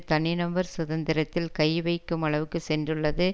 தனி நபர் சுதந்திரத்தில் கை வைக்கும் அளவுக்கு சென்றுள்ளது